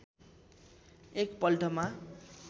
एक पल्टमा